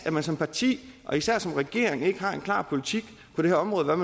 at man som parti og især som regering ikke har en klar politik på det her område med